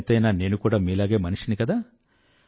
ఎంతైనా నేను కూడా మీలాగే మనిషిని కదా